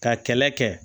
Ka kɛlɛ kɛ